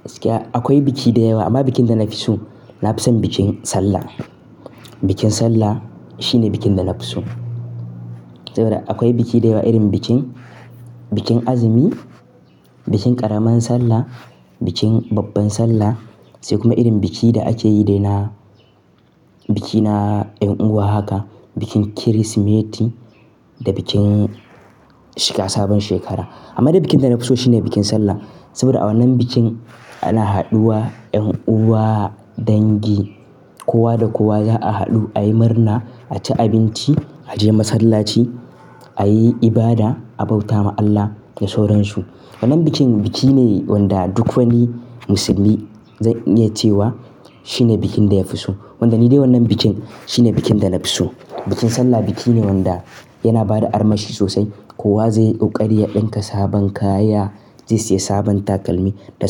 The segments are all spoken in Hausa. Gaskiya akwai biki da yawa amma bikin da na fi so, na fi son bikin Sallah. Bikin Sallah shine bikin da na fi so saboda akwai biki da yawa irin bikin, bikin azumi, bikin ƙaramar sallah, bikin babbar sallah sai kuma irin bikin da ake yi dai na biki na en uwa haka, bikin Kirsimeti da bikin shiga sabon shekara. Amma dai bikin da na fi so shine bikin Sallah saboda a wannan bikin ana haɗuwa, en uwa, dangi, kowa da kowa za a haɗu ayi murna, a ci abinci, a je masallaci, a yi ibada, a bauta ma Allah da sauran su. Wannan bikin biki ne wanda duk wani musulmi zai iya cewa shine bikin da ya fi so. Wanda ni dai wannan bikin shine bikin da na fi so. Bikin Sallah biki ne wanda yana bada armashi sosai. Kowa zai yi ƙarya, ɗinka sabon kaya, zai siya sabon takalmi da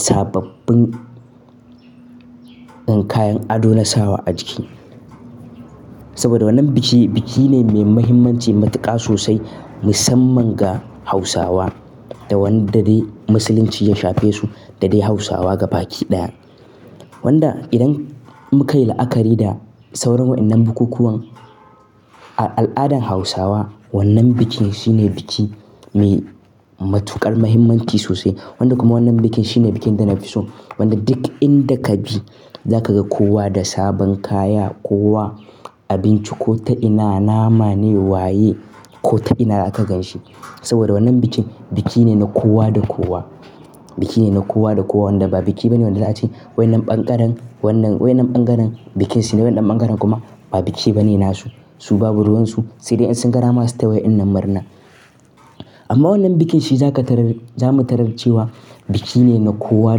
sababbin en kayan ado na sawa a jiki. Saboda wannan biki biki ne mai muhimmanci matuƙa sosai musamman ga Hausawa da wanda dai musulunci ya shafe su da dai Hausawa gaba ki ɗaya. Wanda idan muka yi la'akari da sauran waɗannan bukukuwan, a al'adan Hausawa wannan bikin shine biki mai matuƙar muhimmanci sosai. Wanda kuma wannan bikin shine bikin da na fi so. Wanda duk inda ka bi za ka ga kowa da sabon kaya, kowa abinci ko ta ina nama ne, waye ko ta ina aka gan shi. Saboda wannan bikin biki ne na kowa da kowa. Biki ne na kowa da kowa wanda ba biki bane wanda za a ce waɗannan ɓangaren, wannan, waɗannan ɓangaren bikin shine waɗannan ɓangaren kuma ba biki bane nasu. Su babu ruwan su sai dai in sun dama su ta waɗannan murna. Amma wannan bikin shi za ka tarar, zamu tarar cewa biki ne na kowa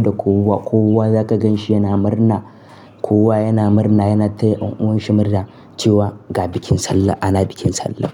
da kowa. Kowa za ka gan shi yana murna, kowa yana murna, yana taya en'uwan shi murna cewa "ga bikin Sallah, ana bikin Sallah".